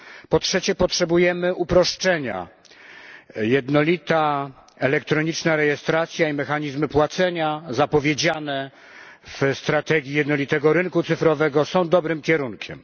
Po trzecie, potrzebujemy uproszczenia jednolita elektroniczna rejestracja i mechanizmy płacenia zapowiedziane w strategii jednolitego rynku cyfrowego są dobrym kierunkiem.